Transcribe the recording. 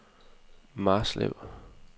Marslev